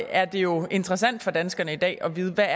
er det jo interessant for danskerne i dag at vide hvad